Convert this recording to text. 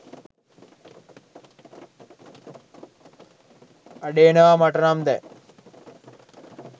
අඩේනවා මටනම් දැන්